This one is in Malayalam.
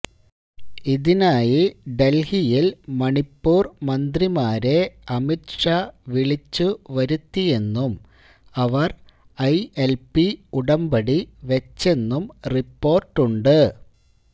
ഇതിനായി ഡല്ഹിയില് മണിപ്പൂര് മന്ത്രിമാരെ അമിത്ഷാ വിളിച്ചു വരുത്തിയെന്നും അവര് ഐഎല്പി ഉടമ്പടി വെച്ചെന്നും റിപ്പോര്ട്ടുണ്ട്